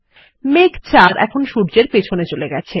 মেঘ ৪ এখন সূর্যের পিছনে চলে গেছে